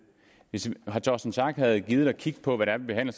hvis herre torsten schack pedersen havde gidet at kigge på hvad vi behandler